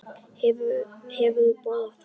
Hefurðu borðað þar?